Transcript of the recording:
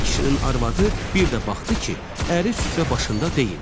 Qərib kişinin arvadı bir də baxdı ki, əri süfrə başında deyil.